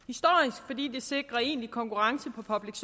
inden sikrer en konkurrence